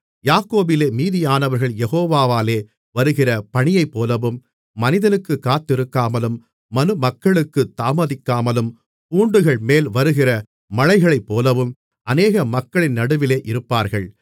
யாக்கோபிலே மீதியானவர்கள் யெகோவாலே வருகிற பனியைப்போலவும் மனிதனுக்குக் காத்திருக்காமலும் மனுமக்களுக்குத் தாமதிக்காமலும் பூண்டுகள்மேல் வருகிற மழைகளைப்போலவும் அநேக மக்களின் நடுவிலே இருப்பார்கள்